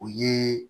O ye